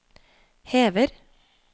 hever